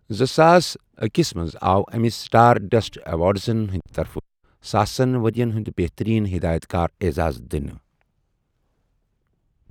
زٕساس اکھَ ہس منٛز آو أمِس سٕٹار ڈَسٹ ایٚوارڑزن ہِنٛدِ طرفہٕ 'ساسن ؤرِین ہِٗنٛد بہتٔریٖن ہِدایت کار' اعزاز دِنہٕ۔